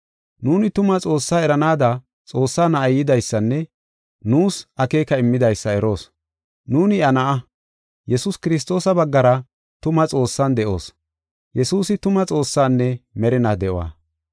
Nuuni tuma Xoossaa eranaada Xoossaa Na7ay yidaysanne nuus akeeka immidaysa eroos. Nuuni iya na7a, Yesuus Kiristoosa baggara tuma Xoossan de7oos. Yesuusi tuma Xoossaanne merinaa de7uwa.